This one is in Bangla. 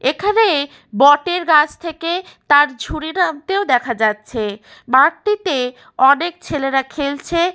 এখানে বটের গাছ থেকে তার ঝুড়ি নামতেও দেখা যাচ্ছে। মাঠটিতে অনেক ছেলেরা খেলছে।